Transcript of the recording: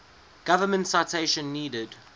government citation needed